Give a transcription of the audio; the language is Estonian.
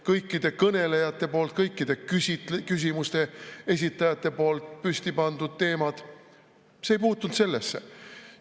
Kõikide kõnelejate poolt, kõikide küsimuste esitajate poolt püstipandud teemad – see ei puutunud sellesse.